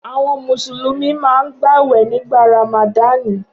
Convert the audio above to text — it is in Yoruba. Awọn Mùsùlùmí máa ń gbàwẹ̀ nígbà Ràmàdani